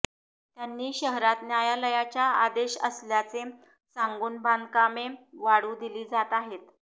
त्यांनी शहरात न्यायालयाच्या आदेश असल्याचे सांगून बांधकामे वाढू दिली जात आहेत